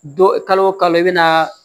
Dɔ kalo o kalo i bɛna